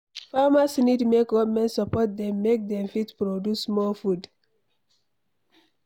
Farmers need make government support dem make Dem fit produce more food